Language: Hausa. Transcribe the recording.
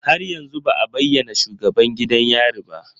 Har yanzu ba a bayyana shugaban gidan yari ba